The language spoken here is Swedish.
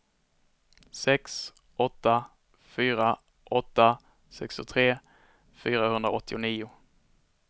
sex åtta fyra åtta sextiotre fyrahundraåttionio